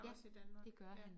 Ja det gør han